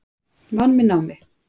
Vann með námi